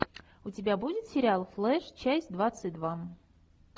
у тебя будет сериал флэш часть двадцать два